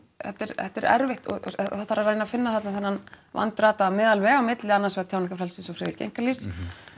þetta er þetta er erfitt og það þarf að reyna að finna þarna þennan vandrataða meðalveg milli annars vegar tjáningarfrelsis og friðhelgi einkalífs